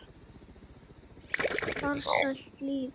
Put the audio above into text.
Farsælt líf.